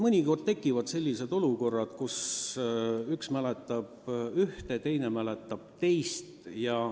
" Mõnikord tekivad sellised olukorrad, kus üks mäletab ühte, teine mäletab teist.